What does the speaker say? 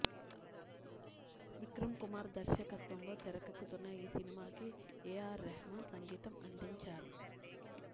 విక్రం కుమార్ దర్శకత్వంలో తెరకెక్కుతున్న ఈ సినిమాకి ఎఆర్ రెహమాన్ సంగీతం అందించారు